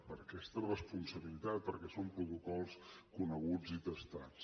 per aquesta responsabilitat perquè són protocols coneguts i testats